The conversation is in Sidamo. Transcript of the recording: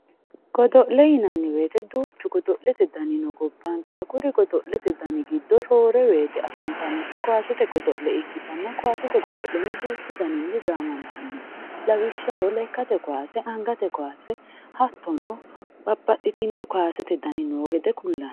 Godo'le yinnanni woyte duuchu godo'lete danni no gobbankera kuri godo'lete danni roore woyte afantanoti kaasete godo'leti, kaasete godo'leno duuchu garinni gaamani lawishshaho lekkate kaase angate kaase hattono babbaxxitino kaasete danni noo gede ku'lanni.